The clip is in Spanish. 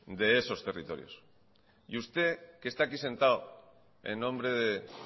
de esos territorios y usted que está aquí sentado en nombre de